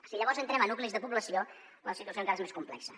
si llavors entrem a nuclis de població la situació encara és més complexa